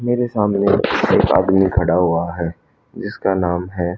मेरे सामने एक आदमी खड़ा हुआ है जिसका नाम है।